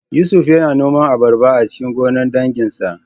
Yusuf yana noman abarba a cikin gonar danginsa